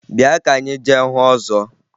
Bịa ka anyị jee hụ ọzọ!